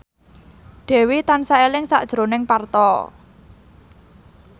Dewi tansah eling sakjroning Parto